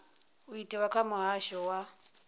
u itwa kha muhasho wa